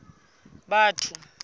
batho